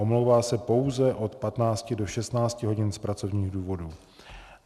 Omlouvá se pouze od 15 do 16 hodin z pracovních důvodů.